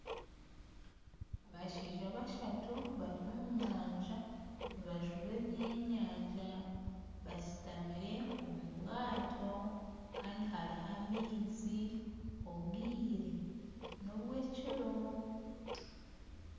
Abashaija bashatu bari omu nyanja nibajuba ebyenyanja, basitamire omu bwato Kandi hariho amaizu, obwire nobw'ekiro